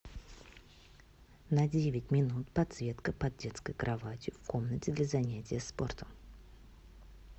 на девять минут подсветка под детской кроватью в комнате для занятия спортом